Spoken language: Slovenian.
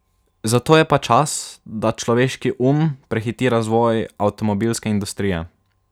Zato je pa čas, da človeški um prehiti razvoj avtomobilske industrije.